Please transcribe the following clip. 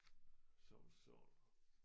Som sådan